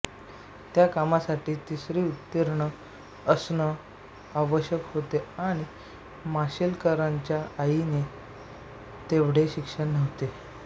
त्या कामासाठी तिसरी उतीर्ण असणं आवश्यक होते आणि माशेलकरांच्या आईंचे तेवढे शिक्षण नव्हते